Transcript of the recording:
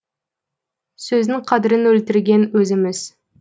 сөздің қадірін өлтірген өзіміз